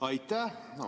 Aitäh!